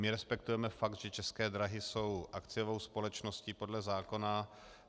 My respektujeme fakt, že České dráhy jsou akciovou společností podle zákona.